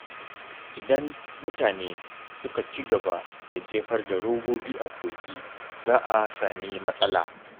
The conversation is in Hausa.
Idan mutane suka ci gaba da jefar da robobi a kogi, za a sami matsala.